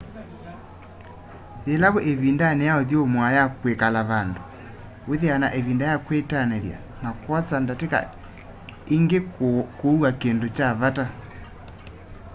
yĩla wĩ ĩvindanĩ ya ũthũmũa ya kwĩkala vandũ wĩthĩawa na ĩvinda ya kwĩtanĩthya na kwosa ndatĩka ingĩ kũua kĩndũ kya vata